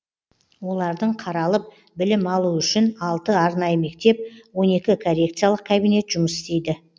олардың қаралып білім алуы үшін алты арнайы мектеп он екі коррекциялық кабинет жұмыс істейді